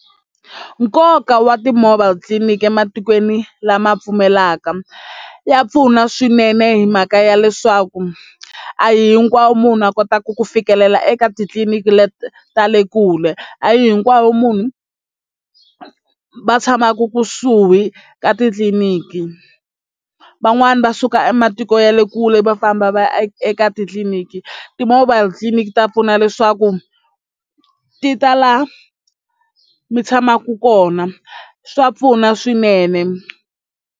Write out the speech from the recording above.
Nkoka wa ti-mobile tliliniki ematikweni lama pfumelaka ya pfuna swinene hi mhaka ya leswaku a hi hinkwavo munhu a kotaka ku fikelela eka titliliniki leti ta le kule a hi hinkwavo munhu va tshamaku kusuhi ka titliniki van'wani va suka ematiko ya le kule va famba va ya eka titliliniki ti-mobile tliliniki ta pfuna leswaku ti ta laha mi tshamaka kona swa pfuna swinene.